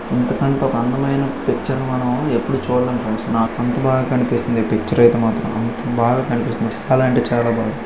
ఇంతకంటే ఒక అందమైన పిక్చర్ మనం ఎప్పుడు చూడలేం ఫ్రెండ్స్ . నా అంత బాగా కన్పిస్తుంది. ఈ పిక్చర్ ఐతే మాత్రం. బాగా కన్పిస్తుంది.చెప్పాలంటే చాలా బావు--